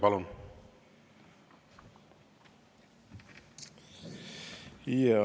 Palun!